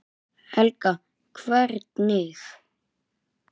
Helga: Hvernig?